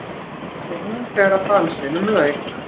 spurði hún þegar dansinum lauk.